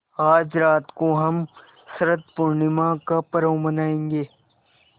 आज रात को हम शरत पूर्णिमा का पर्व मनाएँगे